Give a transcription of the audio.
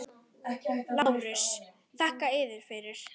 LÁRUS: Þakka yður fyrir!